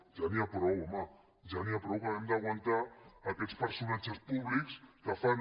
ja n’hi ha prou home ja n’hi ha prou que hàgim d’aguantar aquests personatges públics que fan